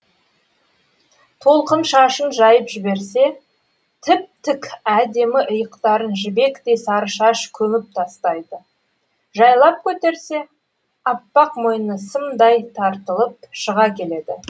толқын шашын жайып жіберсе тіп тік әдемі иықтарын жібектей сары шаш көміп тастайды жайлап көтерсе аппақ мойны сымдай тартылып шыға келеді